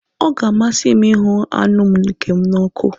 Ọ ga-amasị m ịhụ anụ nke m n'ọkụ.